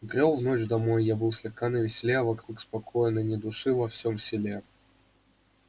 брёл в ночь домой я был слегка на веселе а вокруг спокойно ни души во всём селе